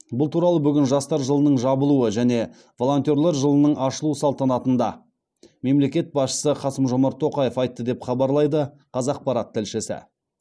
бұл туралы бүгін жастар жылының жабылуы және волонтер жылының ашылу салтанатында мемлекет басшысы қасым жомарт тоқаев айтты деп хабарлайды қазақпарат тілшісі